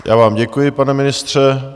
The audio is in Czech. Já vám děkuji, pane ministře.